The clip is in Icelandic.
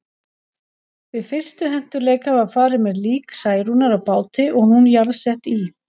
Við fyrstu hentugleika var farið með lík Særúnar á báti og hún jarðsett í